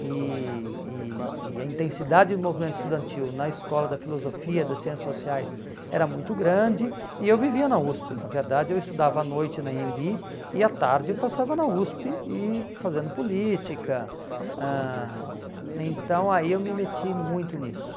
e e e a intensidade do movimento estudantil na Escola da Filosofia e das Ciências Sociais era muito grande e eu vivia na USP, na verdade eu estudava à noite na Anhembi e à tarde passava na USP e fazendo política, ãh então aí eu me meti muito nisso.